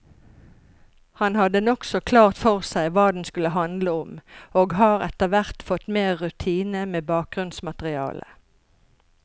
Han hadde nokså klart for seg hva den skulle handle om, og har etterhvert fått mer rutine med bakgrunnsmaterialet.